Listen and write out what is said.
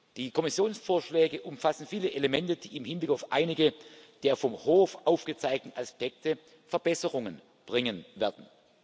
Die Kommissionsvorschläge umfassen viele Elemente, die im Hinblick auf einige der vom Hof aufgezeigten Aspekte Verbesserungen bringen werden.